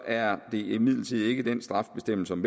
er det imidlertid ikke den strafbestemmelse om